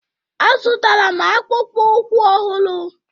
A zụtara m akpụkpọ ụkwụ ọhụrụ.